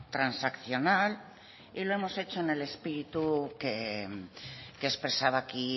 transaccional y lo hemos hecho en el espíritu que expresaba aquí